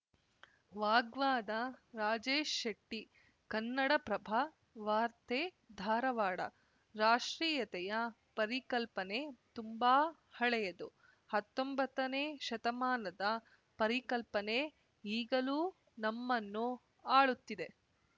ವಾಗ್ವಾದ ರಾಜೇಶ್‌ ಶೆಟ್ಟಿ ಕನ್ನಡಪ್ರಭ ವಾರ್ತೆ ಧಾರವಾಡ ರಾಷ್ಟ್ರೀಯತೆಯ ಪರಿಕಲ್ಪನೆ ತುಂಬಾ ಹಳೆಯದು ಹತ್ತೊಂಬತ್ತನೇ ಶತಮಾನದ ಪರಿಕಲ್ಪನೆ ಈಗಲೂ ನಮ್ಮನ್ನು ಆಳುತ್ತಿದೆ